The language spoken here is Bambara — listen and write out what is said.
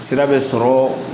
Sira bɛ sɔrɔ